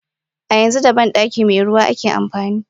A yanzu da bandaki meruwa ake amfani.